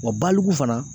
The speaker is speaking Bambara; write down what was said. Wa baliku fana